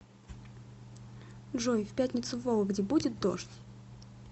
джой в пятницу в вологде будет дождь